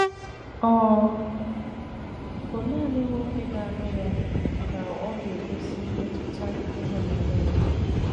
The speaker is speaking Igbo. Ọ bụ nanị nwoke ga - alụ ya ka ọ ga - egosi mmetụta ịhụnanya ya.